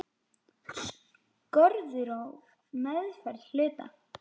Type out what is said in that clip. Skorður á meðferð hluta.